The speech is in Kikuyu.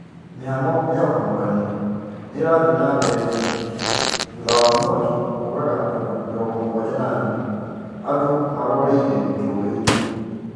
Shughuli cia ũhonokania nicirathie nambere Giriki thutha ya mwaki kũũraga andũ 74, andũ marateng'erire joweini.